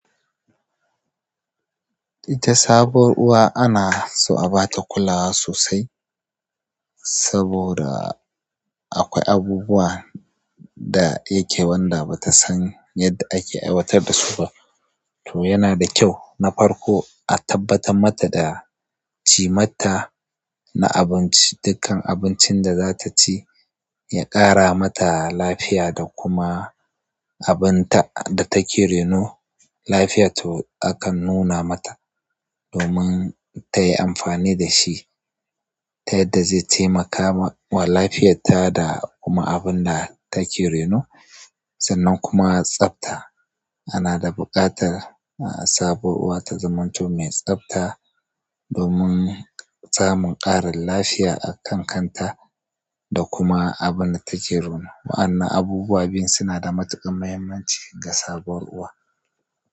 Ita sabuwar uwa anaso a bata kulawa sosai saboda akwai abubuwa da yake qanda batasan yadda ake aiwatar da su ba to yana da kyau na farko a tabbatar mata da cimatta na dukkan abincin da za ta ci, ya ƙara mata lafiya da kuma abun da take reno lafiyarta akan nuna mata domin tayi amfani da shi yadda zai taimakawa lafiyarta da kuma abinda take reno sannan kuma tsafta anada buƙatar sabuwar uwa ta zamanto mai tsafta domin samun ƙarin lafiya a kan kanta da kuma abun da take reno. Wa'annan abubuwa biyu suna da matuƙar muhimmanci ga sabuwar uwa.